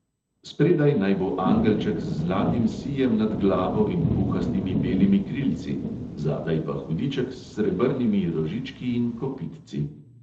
Spredaj naj bo angelček z zlatim sijem nad glavo in puhastimi belimi krilci, zadaj pa hudiček s srebrnimi rožički in kopitci.